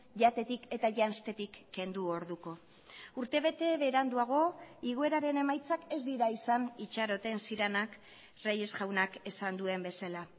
jatetik eta janztetik kendu orduko urtebete beranduago igoeraren emaitzak ez dira izan itxaroten zirenak reyes jaunak esan duen bezala